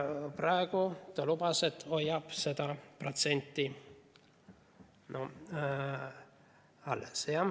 Praegu ta lubas, et hoiab seda protsenti alles.